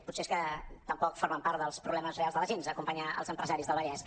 potser és que tampoc forma part dels problemes reals de la gent acompanyar els empresaris del vallès